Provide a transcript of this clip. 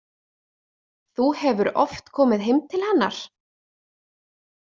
Þú hefur oft komið heim til hennar?